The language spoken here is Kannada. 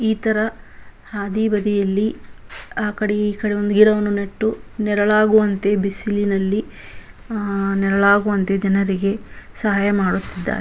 ಈ ತರ ಹಾದಿ ಬದಿಯಲ್ಲಿ ಆ ಕಡೆ ಈ ಕಡೆ ಒಂದು ಗಿಡವನ್ನು ನೆಟ್ಟು ನೆರಳಾಗುವಂತೆ ಬಿಸಿಲಿನಲ್ಲಿ ಆ ನೆರಳಾಗುವಂತೆ ಜನರಿಗೆ ಸಹಾಯ ಮಾಡುತ್ತಿದ್ದಾರೆ.